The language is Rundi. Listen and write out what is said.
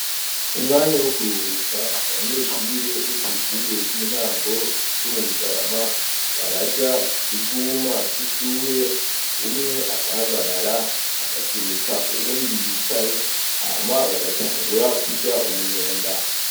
Umwanya wo kuruhuka abanyeshure bo kw'ishure ry'intango ryo mu bugarama baraja ku kivuma c'ishure umwe agahagarara agasunika uwundi yicaye hama bagatangura kurya umunyenga.